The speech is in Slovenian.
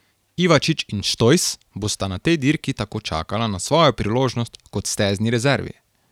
Ivačič in Štojs bosta na tej dirki tako čakala na svojo priložnost kot stezni rezervi.